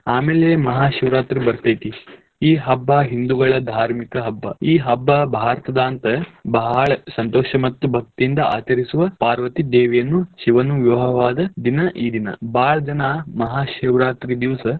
ಆಮೇಲೆ ಮಹಾಶಿವರಾತ್ರಿ ಬರ್ತೇತಿ ಈ ಹಬ್ಬಾ ಹಿಂದೂಗಳ್ ಧಾರ್ಮಿಕ ಹಬ್ಬ. ಈ ಹಬ್ಬ ಭಾರತದಂತ ಬಾಳ್ ಸಂತೋಷ ಮತ್ತ್ ಭಕ್ತಿಯಿಂದ ಆಚರಿಸುವ ಪಾರ್ವತಿ ದೇವಿಯನ್ನು ಶಿವನು ವಿವಾಹವಾದ ದಿನ ಈ ದಿನ ಬಾಳ್ ಜನ ಮಹಾಶಿವರಾತ್ರಿ ದಿವಸ.